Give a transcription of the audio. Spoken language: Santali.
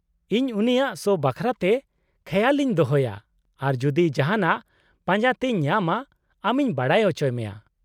-ᱤᱧ ᱩᱱᱤᱭᱟᱜ ᱥᱳ ᱵᱟᱠᱷᱨᱟᱛᱮ ᱠᱷᱮᱭᱟᱥ ᱤᱧ ᱫᱚᱦᱚᱭᱟ ᱟᱨ ᱡᱩᱫᱤ ᱡᱟᱦᱟᱱᱟᱜ ᱯᱟᱸᱡᱟᱛᱮᱧ ᱧᱟᱢᱟ ᱟᱢᱤᱧ ᱵᱟᱰᱟᱭ ᱪᱚ ᱢᱮᱭᱟ ᱾